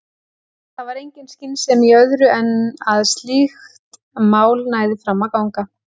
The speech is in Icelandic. Það var engin skynsemi í öðru en að slíkt mál næði fram að ganga.